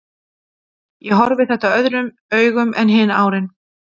Ég horfi þetta öðrum augum en hin árin.